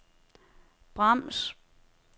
brems